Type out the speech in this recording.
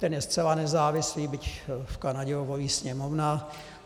Ten je zcela nezávislý, byť v Kanadě ho volí Sněmovna.